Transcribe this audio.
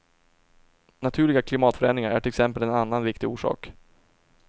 Naturliga klimatförändringar är till exempel en annan viktig orsak.